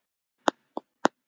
Sér á báti.